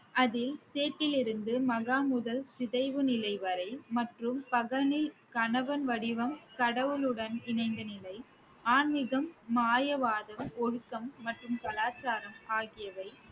அதில் மகா முதல் சிதைவு நிலை வரை மற்றும் கணவன் வடிவம் கடவுளுடன் இணைந்த நிலை ஆன்மீகம் ஒழுக்கம் மற்றும் கலாச்சாரம் ஆகியவை